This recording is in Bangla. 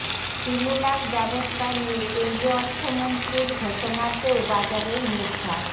স্টিমুলাস ব্যবস্থা নিয়ে কেন্দ্রীয় অর্থমন্ত্রীর ঘোষণাতেও বাজারের মুখ ভার